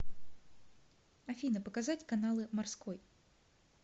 афина показать каналы морской